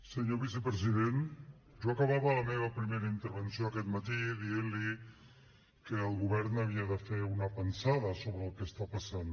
senyor vicepresident jo acabava la meva primera intervenció aquest matí dient li que el govern havia de fer una pensada sobre el que està passant